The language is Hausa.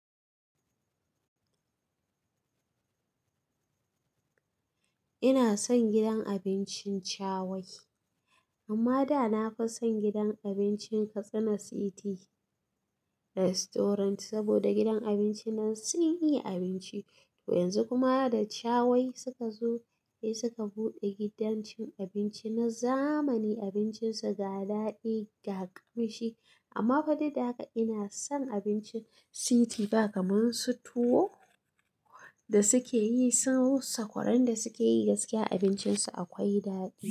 Ina son gidan abincin Shawai, amma da na fi son gidan abincin Katsina City Restaurant. Saboda gidan abinci nan sun iya abinci, to yanzu kuma da Shawai suka zo sai suka buɗe gidan cin abinci na zamani. Abincin su ga daɗi ga ƙamshi. Amma fa duk daga ina son abincin City. Ba kamar su tuwo da suke yi, su sakwaran da suke yi gaskiya abincin su akwai daɗi.